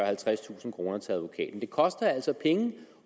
halvtredstusind kroner til advokaten det koster altså penge